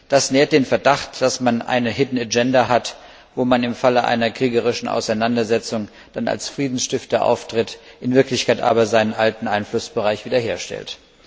Das nährt den Verdacht, dass es eine hidden agenda hat, wo es im Fall einer kriegerischen Auseinandersetzung dann als Friedensstifter auftritt, in Wirklichkeit aber seinen alten Einflussbereich wiederherstellt.